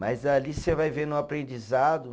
Mas ali você vai vendo o aprendizado.